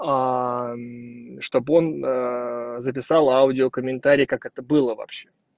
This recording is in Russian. чтобы он записал аудио комментарий как это было вообще